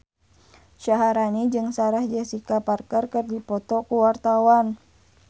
Syaharani jeung Sarah Jessica Parker keur dipoto ku wartawan